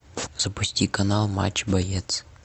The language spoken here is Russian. запусти канал матч боец